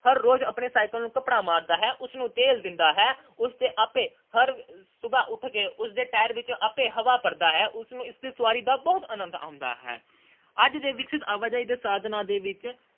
ਹਰ ਰੋਜ਼ ਆਪਣੇ cycle ਨੂੰ ਕੱਪੜਾ ਮਾਰਦਾ ਹੈ, ਉਸ ਨੂੰ ਤੇਲ ਦਿੰਦਾ ਹੈ ਤੇ ਉਸ ਦੇ ਆਪੇ ਹਰ ਸੁਬਹ ਉਠ ਕੇ ਉਸਦੇ cycle ਵਿੱਚ ਆਪੇ ਹਵਾ ਭਰਦਾ ਹੈ। ਉਸ ਨੂੰ ਇਸ ਦੀ ਸਵਾਰੀ ਦਾ ਬਹੁਤ ਆਨੰਦ ਆਉਂਦਾ ਹੈ। ਅੱਜ ਦੇ ਵਿਕਸਤ ਆਵਾਜਾਈ ਦੇ ਸਾਧਨਾਂ ਵਿੱਚ